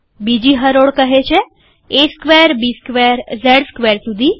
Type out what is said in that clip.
બીજી હરોળ કહે છે A square B square Z square સુધી